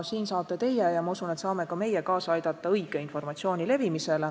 Siin saate teie – ja ma usun, et saame ka meie – kaasa aidata õige informatsiooni levimisele.